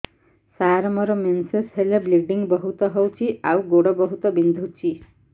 ସାର ମୋର ମେନ୍ସେସ ହେଲେ ବ୍ଲିଡ଼ିଙ୍ଗ ବହୁତ ହଉଚି ଆଉ ଗୋଡ ବହୁତ ବିନ୍ଧୁଚି